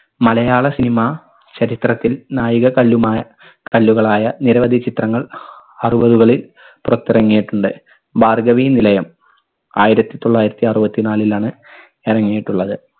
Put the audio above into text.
മലയാള cinema ചരിത്രത്തിൽ നാഴികക്കല്ലുമായ കല്ലുകളായ നിരവധി ചിത്രങ്ങൾ അറുവതുകളിൽ പുറത്തിറങ്ങിയിട്ടുണ്ട്. ഭാർഗ്ഗവീനിലയം ആയിരത്തി തൊള്ളായിരത്തി അറുവത്തിനാലിലാണ് ഇറങ്ങിയിട്ടുള്ളത്.